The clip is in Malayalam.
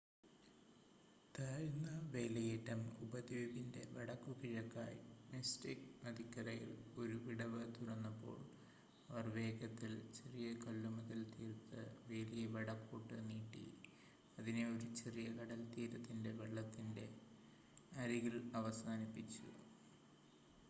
താഴ്ന്ന വേലിയേറ്റം ഉപദ്വീപിൻ്റെ വടക്കുകിഴക്കായി മിസ്റ്റിക്ക് നദിക്കരയിൽ ഒരു വിടവ് തുറന്നപ്പോൾ അവർ വേഗത്തിൽ ചെറിയ കല്ലുമതിൽ തീർത്ത് വേലിയെ വടക്കോട്ട് നീട്ടി അതിനെ ഒരു ചെറിയ കടൽത്തീരത്തിൻ്റെ വെള്ളത്തിൻ്റെ അരികിൽ അവസാനിപ്പിച്ചു